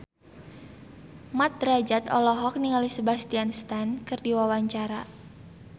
Mat Drajat olohok ningali Sebastian Stan keur diwawancara